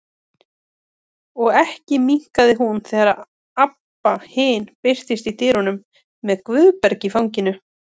Og ekki minnkaði hún þegar Abba hin birtist í dyrunum með Guðberg í fanginu.